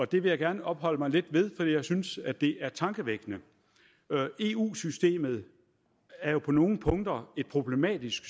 det vil jeg gerne opholde mig lidt ved fordi jeg synes at det er tankevækkende eu systemet er jo på nogle punkter et problematisk